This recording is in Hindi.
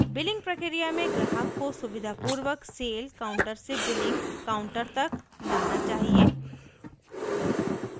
बिलिंग प्रक्रिया में ग्राहक को सुविधापूर्वक सेल काउंटर से बिलिंग काउंटर तक लाना चाहिए